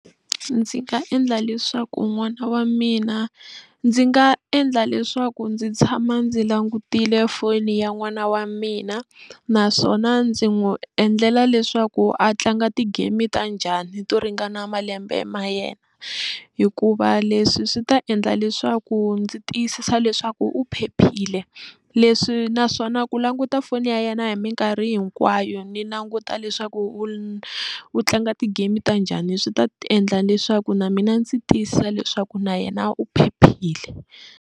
Ndzi nga endla leswaku n'wana wa mina ndzi nga endla leswaku ndzi tshama ndzi langutile foni ya n'wana wa mina naswona ndzi n'wi endlela leswaku a tlanga ti-game ta njhani to ringana malembe ma yena hikuva leswi swi ta endla leswaku ndzi tiyisisa leswaku u phephile leswi naswona ku languta foni ya yena hi minkarhi hinkwayo ni languta leswaku u u tlanga ti-game ta njhani swi ta endla leswaku na mina ndzi tiyisisa leswaku na yena u phephile.